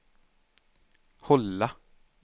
hålla